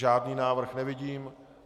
Žádný návrh nevidím.